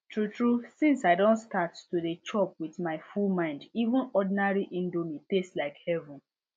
true true since i don start to dey chop with my full mind even ordinary indomie taste like heaven